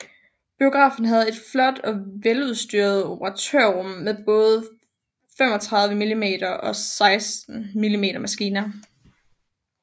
Biografen havde et flot og veludstyret operatørrum med både 35mm og 16mm maskiner